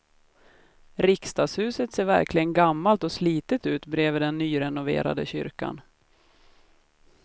Riksdagshuset ser verkligen gammalt och slitet ut bredvid den nyrenoverade kyrkan.